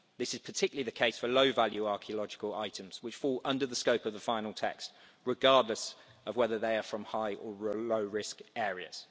This is particularly the case for low-value archaeological items, which fall under the scope of the final text, regardless of whether they are from high or low risk areas.